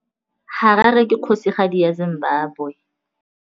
Harare ke kgosigadi ya Zimbabwe.